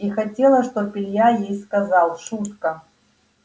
и хотела чтоб илья ей сказал шутка